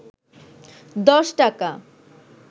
১০ টাকা